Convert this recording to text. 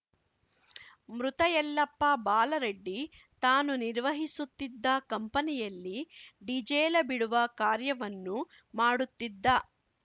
ಮೃತ ಯಲ್ಲಪ್ಪ ಬಾಲರಡ್ಡಿ ತಾನು ನಿರ್ವಹಿಸುತ್ತಿದ್ದ ಕಂಪನಿಯಲ್ಲಿ ಡಿಜೇಲ ಬಿಡುವ ಕಾರ್ಯವನ್ನು ಮಾಡುತ್ತಿದ್ದ